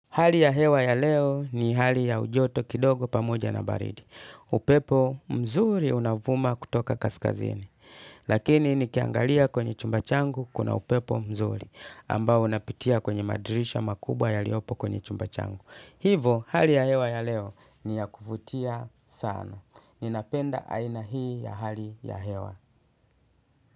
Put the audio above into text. Hali ya hewa ya leo ni hali ya ujoto kidogo pamoja na baridi. Upepo mzuri unavuma kutoka kaskazini. Lakini nikiangalia kwenye chumba changu kuna upepo mzuri. Ambao unapitia kwenye madrisha makubwa yaliopo kwenye chumba changu. Hivo hali ya hewa ya leo ni ya kuvutia sana. Ninapenda aina hii ya hali ya hewa.